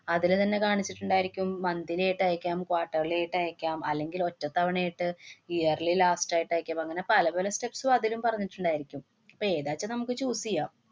അതില് തന്നെ കാണിച്ചിട്ടുണ്ടായിരിക്കും. monthly ആയിട്ട് അയക്കാം, quarterly യായിട്ട് അയക്കാം, അല്ലെങ്കില്‍ ഒറ്റത്തവണേട്ട്, yearly last ആയിട്ട് അയക്കാം. അപ്പ അങ്ങനെ പല പല steps ഉം അതിലും പറഞ്ഞിട്ടുണ്ടായിരിക്കും. ഇപ്പൊ ഏതാന്ന് വച്ചാ നമുക്ക് choose ചെയ്യാം.